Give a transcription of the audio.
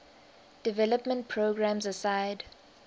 development programs aside